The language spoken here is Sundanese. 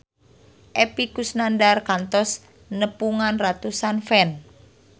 Epy Kusnandar kantos nepungan ratusan fans